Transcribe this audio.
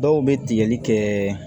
Dɔw bɛ tigɛli kɛ